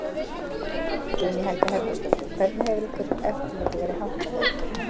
Guðný Helga Herbertsdóttir: Hvernig hefur eftirliti verið háttað hjá ykkur um, um helgina?